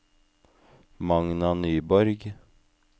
Magna Nyborg